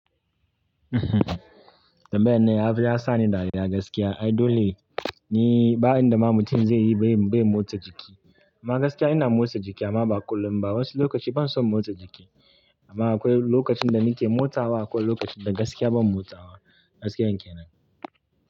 Tambayar nan, ya zo ya sani dariya gaskiya. Ai dole ne ba inda ma mutum zai yi bai motsa jiki. Ma gaskiya ina motsa jiki amma ba kullum ba. Wasu lokaci ban so motsa jiki. Amma akwai lokacin da nake motsawa akwai lokacin da gaskiya ban motsawa. Gaskiya kenan.